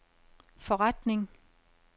forretning